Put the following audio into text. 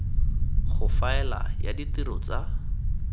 go faela ya ditiro tsa